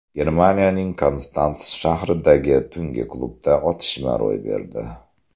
Germaniyaning Konstans shahridagi tungi klubda otishma ro‘y berdi.